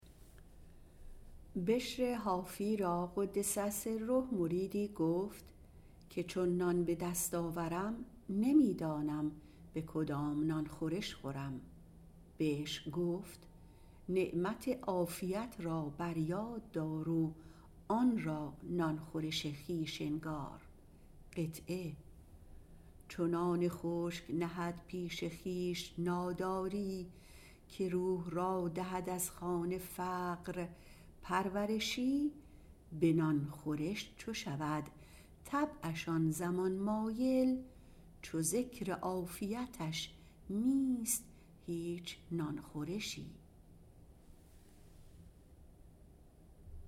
بشر حافی را - رحمة الله علیه - مریدی با وی گفت چون نان به دست آورم نمی دانم که به کدام نان خورش خورم فرمود که نعمت عافیت را فرا یاد آر و آن را نان خورش خویش انگار چو نان خشک نهد پیش خویش ناداری که روح را دهد از خوان فقر پرورشی به نان خورش چو شود طبعش آن زمان مایل چو ذکر عافیتش نیست هیچ نان خورشی